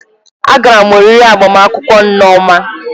Agara m oriri agbamakwụkwọ nneoma